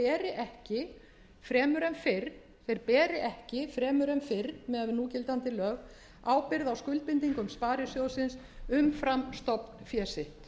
ekki fremur en fyrr miðað við núgildandi lög ábyrgð á skuldbindingum sparisjóðsins umfram stofnfé sitt